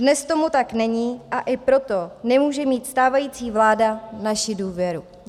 Dnes tomu tak není, a i proto nemůže mít stávající vláda naši důvěru.